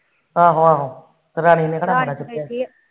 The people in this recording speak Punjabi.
ਆਹੋ ਆਹੋ ਰਲ ਮਿਲ ਕੇ